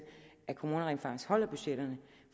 at kommunerne rent faktisk holder budgetterne